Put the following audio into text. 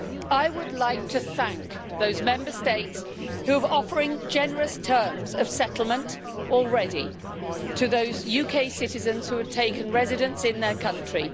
I would like to thank those Member States who are already offering generous terms of settlement to those UK citizens who have taken residence in their country.